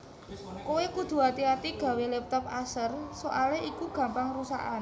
Kowe kudu ati ati gawe laptop Acer soale iku gampang rusakan